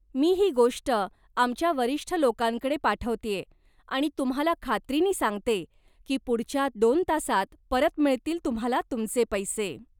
मी ही गोष्ट आमच्या वरिष्ठ लोकांकडे पाठवतेय आणि तुम्हाला खात्रीनी सांगते की पुढच्या दोन तासांत परत मिळतील तुम्हाला तुमचे पैसे.